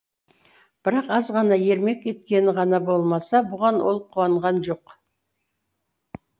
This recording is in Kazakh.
бірақ азғана ермек еткені ғана болмаса бұған ол қуанған жоқ